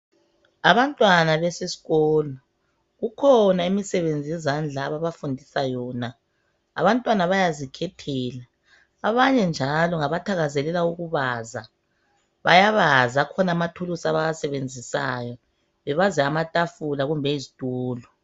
Abantwana beseskolo kukhona imisebenzi yezandla ababafundisa yona. Abantwana bayazikhethela abanye njalo ngabathakazelela ukubaza. Bayabaza, akhona amathuluzi abawasebenzisayo bebaza amatafula kumbe iztulo.